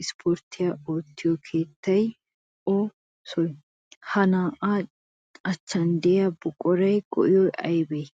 issippoorttiya oottiyoo keettay o soy? Ha na'aa achchan diyaa buquratu go'ay aybee?